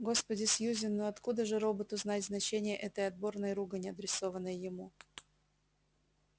господи сьюзен ну откуда же роботу знать значение этой отборной ругани адресованной ему